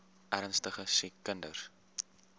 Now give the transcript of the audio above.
ernstige siek kinders